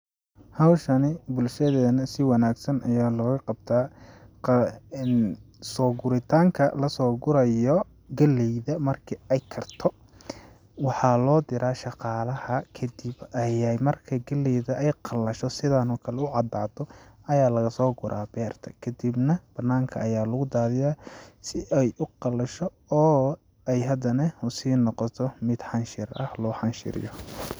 Hawshani bulshadeena si wanaagsan ayaa looga qabtaa, soo guritaanka lasoo gurayo galleyda marki ay karto, waxaa loo diraa shaqaalaha ,kadib ayeey marka ay galleyda qallasho sidaan oo kale u cadaato ayaa lagasoo guraa beerta kadibna banaanka ayaa lagu daadiyaa si ay u qalasho oo ay hadane usii noqoto mid xanshir ah loo xanshiriyo.